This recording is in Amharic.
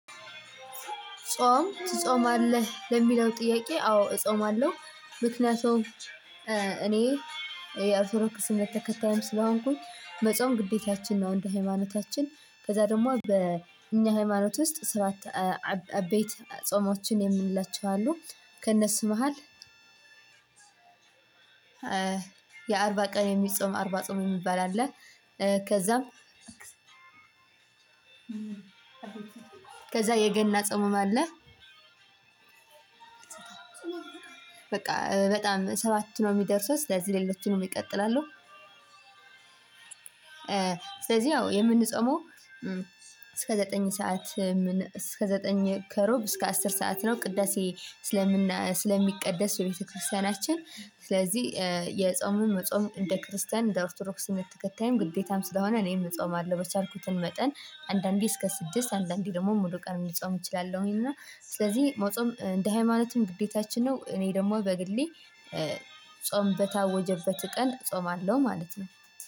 ጾም ትጾማለህ ለሚለው ጥያቄ አዎ እጾማለሁ ምክንያቱም እኔ የኦርቶዶክስ እምነት ተከታይም ስለሆንኩኝ መጾም ግዴታችን ነው። እንደ ሃይማኖታችን ከዛ ደግሞ በእኛ ሃይማኖት ውስጥ ስራት። አቤይት ጾሞችን የምንላቸው አሉ። ከእነሱ መሃል የአርባ ቀን የሚጾም አርባ ጾም የሚባል አለ። ከዛም ከዛ የገና ጸምም አለ። በቃ በጣም ሰባት ነው የሚደርሰው ስለዚህ ሌሎችንም ይቀጥላሉ። ስለዚህ ያው የምንፆመው እስከ ዘጠኝ ሰዓት ምን እስከ ዘጠኝ ከሩብ እስከ አስር ሰዓት ነው። ቅዳሴ ስለምን ስለሚቀደስ በቤተክርስቲያናችን ስለዚህ የጾምን መጾም እንደ ክርስቲያን እንደ ኦርቶዶክስ እምነት ተከታይም ግዴታም ስለሆነ እኔም እጾማለሁ። በቻልኩትም መጠን አንዳንዴ እስከ ስድስት አንዳንዴ ደግሞ ሙሉ ቀን ልጾም እችላለሁኝ። እና ስለዚህ መጾም እንደ ሃይማኖትም ግዴታችን ነው። እኔ ደግሞ በግሌ ጾም በታወጀበት ቀን ጾማለሁ ማለት ነው።